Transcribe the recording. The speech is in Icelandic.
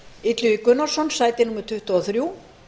illugi gunnarsson sæti tuttugu og þrjú